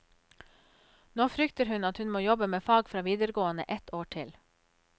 Nå frykter hun at hun må jobbe med fag fra videregående ett år til.